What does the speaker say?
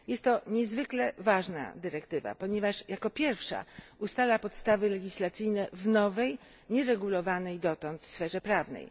Jest to niezwykle ważna dyrektywa, ponieważ jako pierwsza ustala podstawy legislacyjne w nowej nieregulowanej dotąd sferze prawnej.